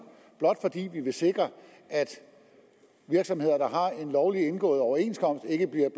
i vi vil sikre at virksomheder der har en lovligt indgået overenskomst ikke bliver